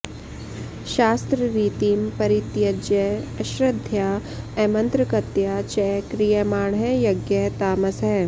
शास्त्ररीतिं परित्यज्य अश्रद्धया अमन्त्रकतया च क्रियमाणः यज्ञः तामसः